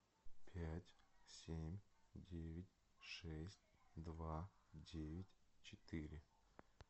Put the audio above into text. пять семь девять шесть два девять четыре